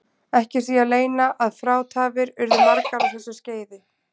Ekki er því að leyna að frátafir urðu margar á þessu skeiði.